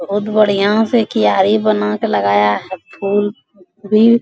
बहुत बढ़िया से क्यारी बनाके लगाया है फूल भी।